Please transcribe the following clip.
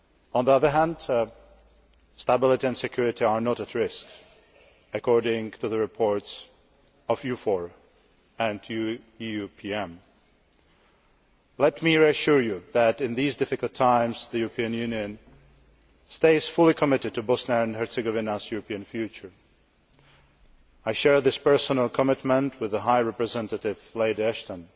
On the other hand, stability and security are not at risk, according to the reports of EUFOR and EUPM. Let me reassure you that, in these difficult times, the European Union stays fully committed to Bosnia and Herzegovina's European future. I share this personal commitment with the High Representative, Baroness Ashton.